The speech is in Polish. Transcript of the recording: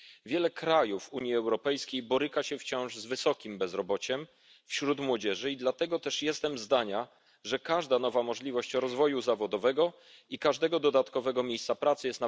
Wiele krajów Unii Europejskiej boryka się wciąż z wysokim bezrobociem wśród młodzieży i dlatego też jestem zdania, że każda nowa możliwość rozwoju zawodowego i każdego dodatkowego miejsca pracy jest na wagę złota.